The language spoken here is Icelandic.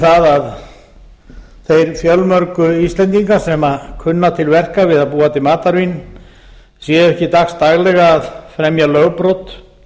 það að þeir fjölmörgu íslendingar sem kunna til verka við að búa til matarvín séu ekki dagsdaglega að fremja lögbrot